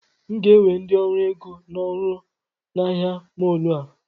M ga-ewe ndị ọrụ ego n'ọrụ na ahịa mọọlụ a